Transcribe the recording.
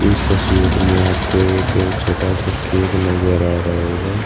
इस तस्वीर में आपको एक छोटा सा केक नजर आ रहा होगा।